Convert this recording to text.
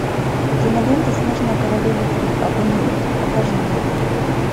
кинолента снежная королева три огонь и лед покажи мне